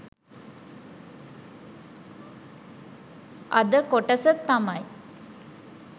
අද කොටස තමයි